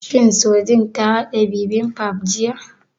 Shin Sojin ta haɗa bibimbap jiya?